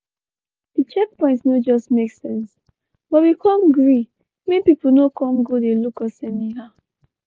di checkpoint no just make sense but we come gree make pipu no come go dey look us anyhow.